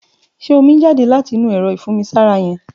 Ṣé ómi n jàdé làtí inù ẹrọ ifùnmisàrá yèn?